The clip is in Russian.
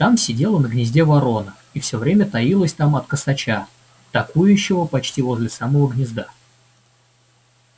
там сидела на гнезде ворона и все время таилась там от косача токующего почти возле самого гнезда